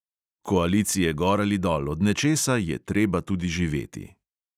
Koalicije gor ali dol, od nečesa je treba tudi živeti.